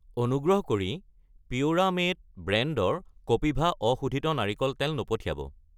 অনুগ্ৰহ কৰি পিউৰামেট ব্ৰেণ্ডৰ কপিভা অশোধিত নাৰিকল তেল নপঠিয়াব।